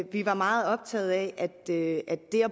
vi var meget optaget af at det at